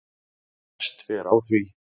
best fer á því